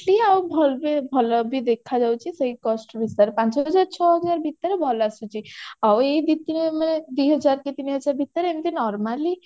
costly ଆଉ ଭଲ ବି ଭଲ ବି ଦେଖାଯାଉଛି ସେଇ cost ଭିତରେ ପାଞ୍ଚହଜାର ଛହଜାର ଭିତରେ ଭଲ ଆସୁଛି ଆଉ ଏଇ ଦି ତିନି ମାନେ ଦିହଜାର କି ତିନିହଜାର ଭିତରେ ଏମିତି normally